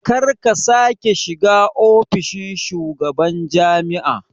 Karka sake shiga ofishin shugaban jami'a